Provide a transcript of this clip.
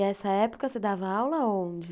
E essa época você dava aula aonde?